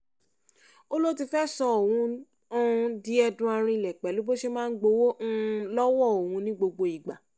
ó lọ ti fẹ́ẹ́ sọ òun um di ẹdun arinlẹ̀ pẹ̀lú bó ṣe máa ń gbowó um lọ́wọ́ òun ní gbogbo ìgbà